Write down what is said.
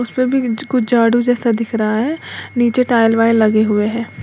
उस पे भी कुछ झाडू जैसा दिख रहा है नीचे टाइल वाइल लगे हुए हैं।